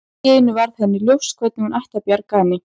Allt í einu varð henni ljóst hvernig hún ætti að bjarga henni.